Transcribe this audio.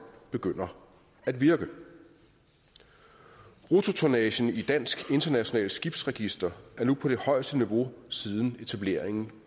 begynder at virke bruttotonnagen i dansk internationalt skibsregister er nu på det højeste niveau siden etableringen